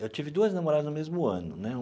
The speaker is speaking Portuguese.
Eu tive duas namoradas no mesmo ano, né?